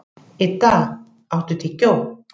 Idda, áttu tyggjó?